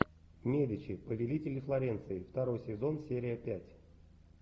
медичи повелители флоренции второй сезон серия пять